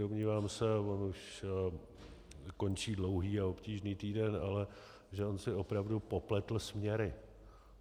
Domnívám se, on už končí dlouhý a obtížný týden, ale že on si opravdu popletl směry.